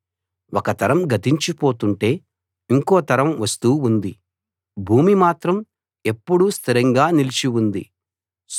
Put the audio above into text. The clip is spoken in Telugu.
ఒక తరం గతించిపోతుంటే ఇంకో తరం వస్తూ ఉంది భూమి మాత్రం ఎప్పుడూ స్థిరంగా నిలిచి ఉంది